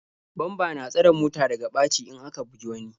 Bamba na tsare mota daga ɓaci in aka bugi wani.